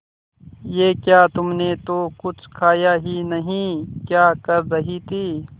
ये क्या तुमने तो कुछ खाया ही नहीं क्या कर रही थी